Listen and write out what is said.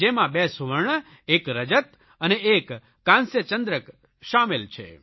જેમાં 2 સુવર્ણ 1 રજત અને 1 કાંસ્ય ચંદ્રક સામેલ છે